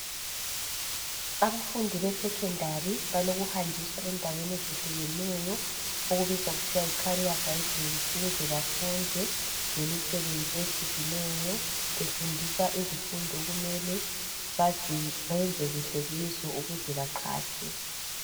Abafundi beSekhondari balokuhanjiswa endaweni ezehlukeneyo okubizwa kuthiwa yi "career guidance" ukuze bafunde ngemisebenzi ehlukeneyo befundiswa izifundo okumele bayenze kuhle kizo ukuze baqhatshwe.